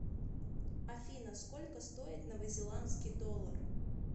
афина сколько стоит новозеландский доллар